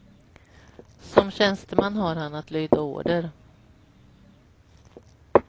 Som tjänsteman har han att lyda order.